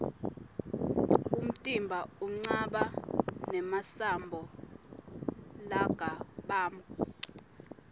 umtimba unqaba nemasambo largabamgu